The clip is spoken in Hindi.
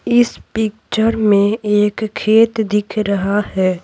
इस पिक्चर में एक खेत दिख रहा है।